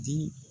Di